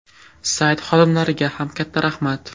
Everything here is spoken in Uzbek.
Sayt xodimlariga ham katta rahmat.